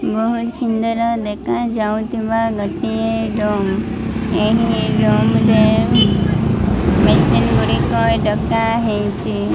ବୋହୁତ ସୁନ୍ଦର ଦେଖାଯାଉଥିବା ଗୋଟିଏ ଡ୍ରମ । ଏହି ଡ୍ରମ ରେ ମେସିନ ଗୁଡ଼ିକ ଡକାହେଇଛି।